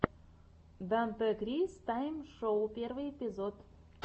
дантекрис тайм шоу первый эпизод